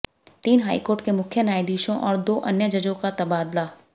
तीन हाईकोर्ट के मुख्य न्यायाधीशों और दो अन्य जजों का तबादला